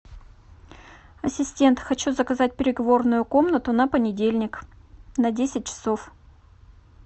ассистент хочу заказать переговорную комнату на понедельник на десять часов